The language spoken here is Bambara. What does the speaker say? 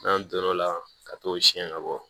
N'an do l'o la ka t'o siɲɛ ka bɔ